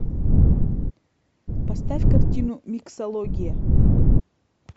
поставь картину миксология